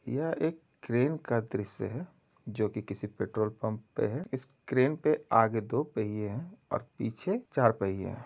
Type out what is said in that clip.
यह एक क्रेन का दृश्य है जो किसी पेट्रोल पंप का है। इस क्रेन के आगे दो पहिए हैं और पीछे चार पहिए हैं।